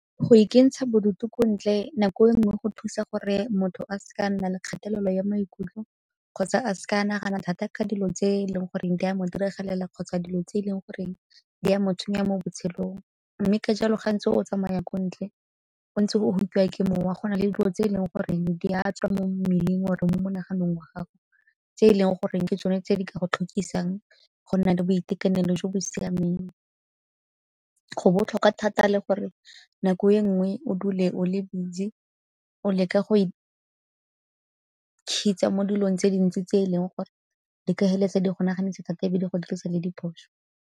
Go ikentsha bodutu ko ntle nako e nngwe go thusa gore motho a se ka a nna le kgatelelo ya maikutlo kgotsa a se ka a nagana thata ka dilo tse e leng goreng di a mo diragalela kgotsa dilo tse e leng gore di a mo tshwenya mo botshelong. Mme ka jalo gantsi o tsamaya ko ntle o ntse o ke mowa go na le dilo tse e leng goreng di a tswa mo mmeleng or-e mo monaganong wa gago, tse e leng goreng ke tsone tse di ka go tlhokisang go nna le boitekanelo jo bo siameng. Go botlhokwa thata le gore nako e nngwe o dule o le busy o leka go mo dilong tse dintsi tse e leng gore di ka heleletsa di go naganisa di go dirisa le diphoso.